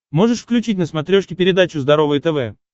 можешь включить на смотрешке передачу здоровое тв